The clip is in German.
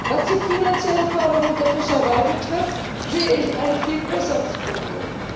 Was die finanzielle Förderung der Fischerei betrifft, sehe ich ein viel größeres Problem.